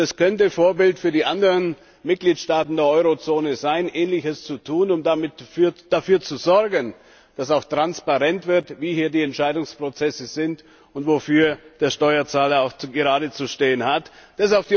Und er könnte Vorbild für die anderen Mitgliedstaaten der Eurozone sein, Ähnliches zu tun und damit dafür zu sorgen, dass auch transparent wird, wie hier die Entscheidungsprozesse sind und wofür der Steuerzahler aufkommen muss.